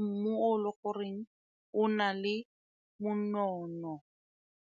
mmogo le goreng o na le monono.